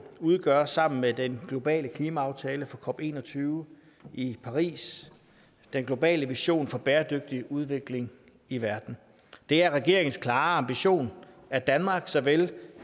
udgør sammen med den globale klimaaftale for cop en og tyve i paris den globale vision for bæredygtig udvikling i verden det er regeringens klare ambition at danmark såvel